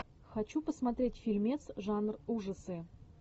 хочу посмотреть фильмец жанр ужасы